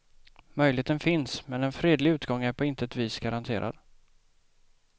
Möjligheten finns, men en fredlig utgång är på intet vis garanterad.